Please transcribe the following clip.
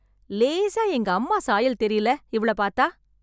லேசா எங்க அம்மா சாயல் தெரியல இவள பாத்தா?